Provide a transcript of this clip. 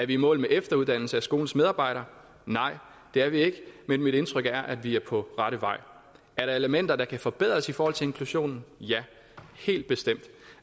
i mål med efteruddannelse af skolens medarbejdere nej det er vi ikke men mit indtryk er at vi er på rette vej er der elementer der kan forbedres i forhold til inklusion ja helt bestemt